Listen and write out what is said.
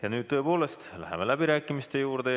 Ja nüüd tõepoolest läheme läbirääkimiste juurde.